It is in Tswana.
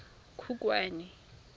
khukhwane